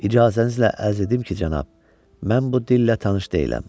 İcazənizlə ərz edim ki, cənab, mən bu dillə tanış deyiləm.